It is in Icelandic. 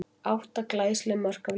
Átta glæsileg mörk af línunni!